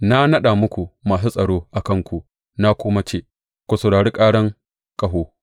Na naɗa muku masu tsaro a kanku na kuma ce, Ku saurari karan ƙaho!’